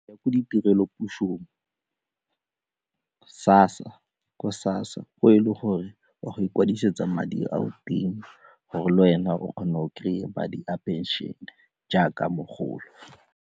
Ke ditirelo pusong, ko SASSA, ko e le gore o ya go ikwadisetsa madi oa teng gore le wena o kgona go kry-a madi a phenšene jaaka mogolo.